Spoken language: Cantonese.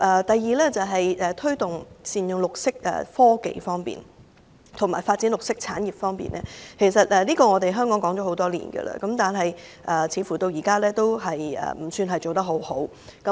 第二，在推動善用綠色科技及發展綠色產業方面，其實香港已經談了多年，但目前進度不算理想。